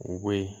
U bɔ yen